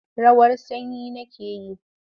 Rawar sanyi nake yi.